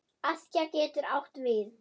Askja getur átt við